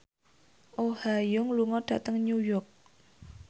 Oh Ha Young lunga dhateng New York